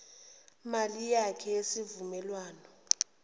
mali yakhe yesivumelwano